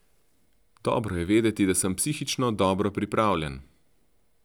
Dobro je vedeti, da sem psihično dobro pripravljen.